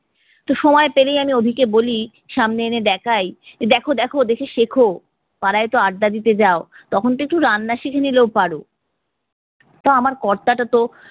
তো সময় পেলেই আমি অভিকে বলি, সামনে এনে দেখায়, দেখো দেখো দেখে শেখো। পাড়ায় তো আড্ডা দিতে যাও তখন তো একটু রান্না শিখে নিলেও পারো। তা আমার কর্তাটা তো